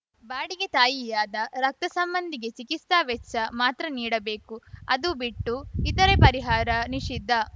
ಬಾಡಿಗೆ ತಾಯಿಯಾದ ರಕ್ತ ಸಂಬಂಧಿಗೆ ಚಿಕಿತ್ಸಾ ವೆಚ್ಚ ಮಾತ್ರ ನೀಡಬೇಕು ಅದು ಬಿಟ್ಟು ಇತರೆ ಪರಿಹಾರ ನಿಷಿದ್ಧ